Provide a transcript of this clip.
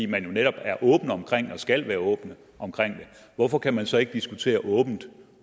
man jo netop er åbne omkring det eller skal være åbne omkring det hvorfor kan man så ikke diskutere åbent